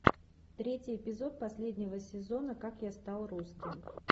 третий эпизод последнего сезона как я стал русским